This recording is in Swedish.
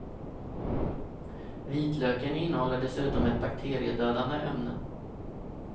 Vitlöken innehåller dessutom ett bakteriedödande ämne.